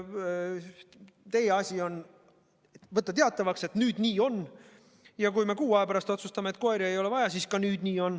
Teie asi on võtta teatavaks, et nüüd nii on, ja kui me kuu aja pärast otsustame, et koeri ei ole vaja, siis on nii.